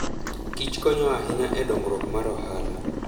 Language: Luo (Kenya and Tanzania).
Kich konyo ahinya e dongruok mar ohala.